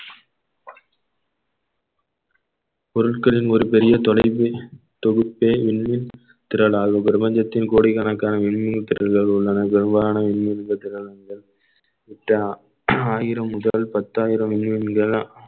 பொருட்களின் ஒரு பெரிய தொலைவு தொகுப்பே விண்ணில் திரளாக பிரபஞ்சத்தின் கோடிக்கணக்கான மின்மினி திறல்கள் உள்ளன வெவ்வேறான விண்மீன் ஆயிரம் முதல் பத்தாயிரம் விண்மீன்கள்